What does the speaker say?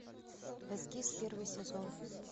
эскиз первый сезон